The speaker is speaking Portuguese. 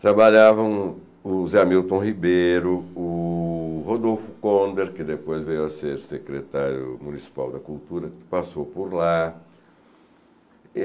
Trabalhavam o Zé Hamilton Ribeiro, o Rodolfo Konder, que depois veio a ser secretário municipal da Cultura, que passou por lá.